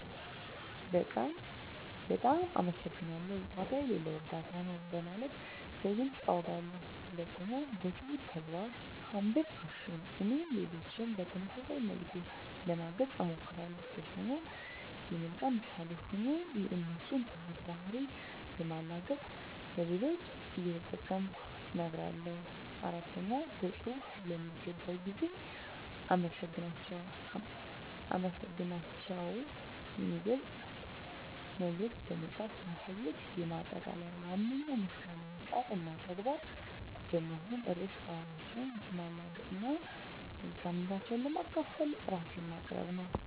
በቃል "በጣም አመሰግናለሁ"፣ "ዋጋ የሌለው እርዳታ ነው" በማለት በግልፅ አውጋለሁ። 2. በትሁት ተግባር (Humble Action) - እኔም ሌሎችን በተመሳሳይ መልኩ ለማገዝ እሞክራለሁ። 3. የመልካም ምሳሌ ሆኜ የእነሱን ትሁት ባህሪ በማላገጥ ለሌሎች እየጠቀምኩ እነግራለሁ። 4. በፅሁፍ ለሚገባው ጊዜ አመሰግናታቸውን የሚገልጽ መልዕክት በመጻፍ ማሳየት። ማጠቃለያ ዋነኛው ምስጋናዬ ቃል እና ተግባር በመሆን ርዕሰ ባህሪያቸውን ማላገጥ እና መልካምነታቸውን ለማካፈል ራሴን ማቅረብ ነው።